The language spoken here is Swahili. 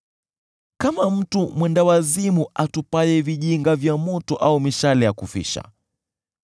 Kama mtu mwendawazimu atupaye vijinga vya moto au mishale ya kufisha,